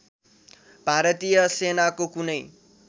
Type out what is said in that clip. भारतीय सेनाको कुनै